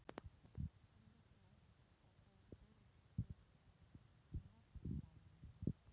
Sölvi: Vildir þú að þau yrðu birt í Morgunblaðinu?